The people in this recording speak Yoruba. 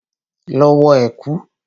Lọ wọ ẹ̀kú!